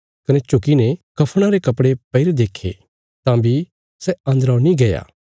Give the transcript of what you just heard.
कने झुकीने कफणा रे कपड़े पैईरे देक्खे तां बी सै अन्दरौ नीं गया